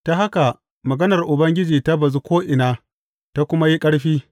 Ta haka maganar Ubangiji ta bazu ko’ina ta kuma yi ƙarfi.